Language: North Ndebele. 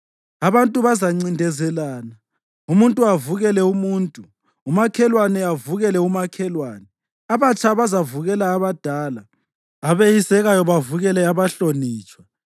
Abantu bazancindezelana, umuntu avukele umuntu, umakhelwane avukele umakhelwane. Abatsha bazavukela abadala, abeyisekayo bavukele abahlonitshwa.